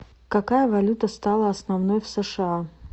какая валюта стала основной в сша